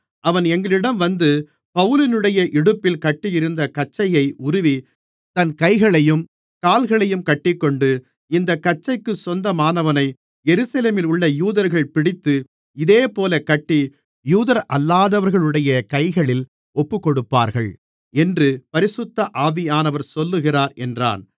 அவன் எங்களிடம் வந்து பவுலினுடைய இடுப்பில் கட்டியிருந்த கச்சையை உருவி தன் கைகளையும் கால்களையும் கட்டிக்கொண்டு இந்தக் கச்சைக்கு சொந்தமானவனை எருசலேமிலுள்ள யூதர்கள் பிடித்து இதேபோல கட்டி யூதரல்லாதவர்களுடைய கைகளில் ஒப்புக்கொடுப்பார்கள் என்று பரிசுத்த ஆவியானவர் சொல்லுகிறார் என்றான்